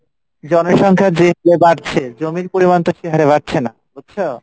জনসংখ্যা যে হারে বাড়ছে জমির পরিমানে বাড়ছেনা বুঝছো?